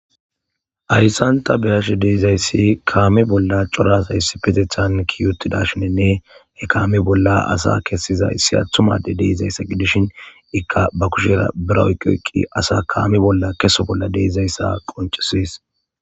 Ayssanta beyashe deizayssi kaame bolla corasayssi petethan kiyutidashinenne hekaame bolla asa kessiza issi attumade deizayssa gidishin ikka ba kushera bira oyqqi eqqi asa kaami bolla keso bolla deizayssa qoncisis.